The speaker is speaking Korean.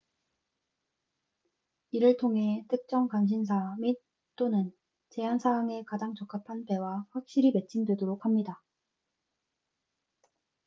이를 통해 특정 관심사 및/또는 제한 사항에 가장 적합한 배와 확실히 매칭 되도록 합니다